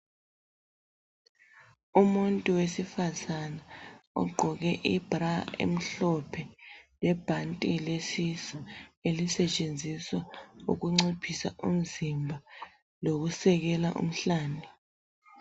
Umuntu wesifazana ogqoke ibra emhlophe lebhanti lesisu elisetshenziswa ukunciphisa umzimba lokusekela umhlane.